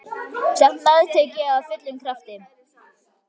Samt meðtek ég af fullum krafti.